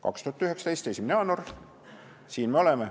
2019. aasta 1. jaanuar – siin me oleme.